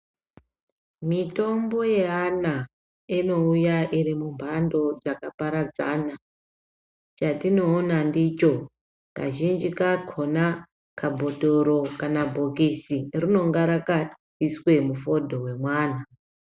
Mitombo yaana inouya iri mumhando dzakaparadzana chatinoona ndicho kazhinji kakhona kabhodhoro kana bhokisi rinenge rakaiswe mufodho wemwana.